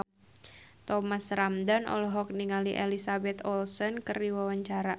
Thomas Ramdhan olohok ningali Elizabeth Olsen keur diwawancara